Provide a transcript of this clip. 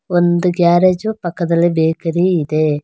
ಒಂದು ಗ್ಯಾರೇಜು ಪಕ್ಕದಲ್ಲಿ ಬೇಕರಿ ಇದೆ.